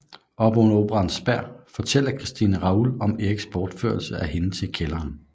Oppe under operaens spær fortæller Christine Raoul om Eriks borførelse af hende til kælderen